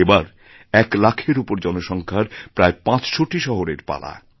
এবার এক লাখেরউপর জনসংখ্যার প্রায় পাঁচশোটি শহরের পালা